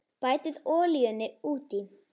Bætið olíunni út í.